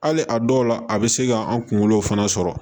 Hali a dɔw la a bɛ se k'an kunkolo fana sɔrɔ